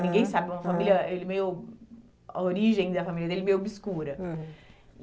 Ninguém sabe, é uma família, ele meio... A origem da família dele é meio obscura.